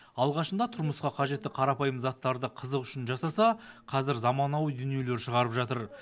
алғашында тұрмысқа қажетті қарапайым заттарды қызық үшін жасаса қазір заманауи дүниелер шығарып жатыр